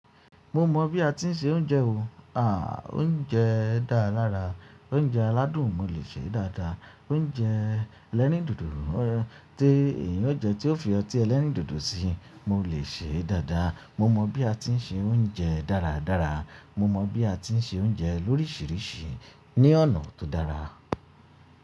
Mo mọ bí a ti ń sè oúnjẹ o. Oúnjẹ dára lára. Oúnjẹ aládùn mo lè sè dáda. Oúnjẹ elerin dodo tí èèyàn ò jẹ tí ó fi ọtí ẹlẹrin dodo sí mo lè sè dáda. Mo mọ bí a ti ń sè oúnjẹ dáradára. Mo mọ bí a ti ń sè oúnjẹ lóríṣiríṣi ní ọnà tó dára.